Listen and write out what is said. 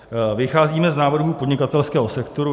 Vycházíme z návrhů podnikatelského sektoru.